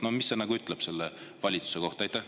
No mida see ütleb selle valitsuse kohta?